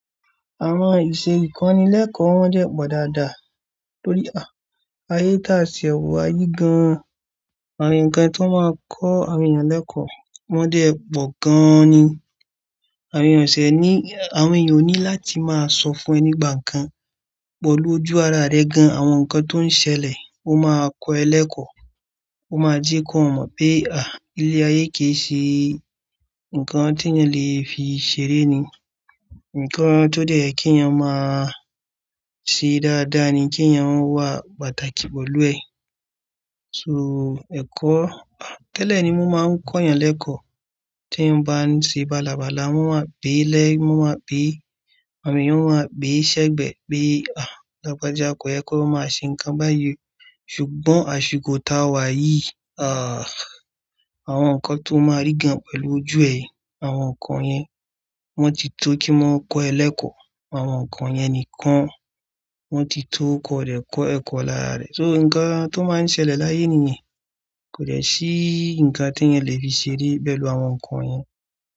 Àwon ìṣe ìkonì lékò wón dè pò dáadáa, tórí ayé tí a ti e wa yí gan. Àwon nǹkan tí wón máa n kó àwon èèyàn lékò wọ́n dé epo gan-an ni. Àwon èèyàn ò ní láti máa sọ fun ẹni ìgbà nǹkan pẹ̀lú ojú ara rẹ̀ gan, àwon nǹkan tó n ṣẹlẹ̀ ó máa kọ́ ẹ lékò, ó máa jẹ kó mo pé àh ilé ayé kì í ṣe. Nǹkan tí ẹniyàn le fi ṣeré ni. Nǹkan tó dẹ́ ye kí eeyàn máa ṣe dáadáa ni, kí eeyàn wà pàtàkì pẹ̀lú ẹ. So, ẹ̀kọ́ tẹ́lẹ̀ ni mo máa n kó èèyàn lékò, tí eeyan bá n ṣe bálabàla, wọ́n wáa bí i le, wón wáa bí, àwon èèyàn o wáa bí ṣẹ́gbẹ́ ni pé lagbaja kò yẹ kó máa ṣe nǹkan báyìí. Ṣùgbọ́n àsìkò tá a wá yìí. Awon nǹkan tó máa rí gan pẹ̀lú ojú ẹ yen, àwon nǹkan yẹn wọ́n ti tó kí wọ́n kó ẹ lékò. Àwon nǹkan yẹn nìkan wọ́n ti tó kọ́ rẹ̀ kọ́ ẹ̀kọ́ lára rẹ̀. So, nǹkan tó máa n ṣẹlẹ̀ láyé ènìyàn. Kò dẹ́ sí nǹkan tí ẹeyàn le fi ṣeré pẹ̀lú àwon nǹkan yẹn.